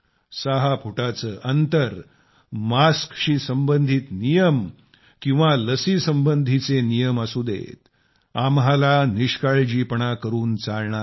सहा फुटाचे अंतर मास्कशी संबधित नियम किंवा मग लस संबंधीचे नियम असू देत आम्हाला निष्काळजीपणा करून चालणार नाही